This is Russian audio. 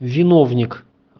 виновник